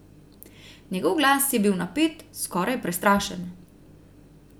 Njegov glas je bil napet, skoraj prestrašen.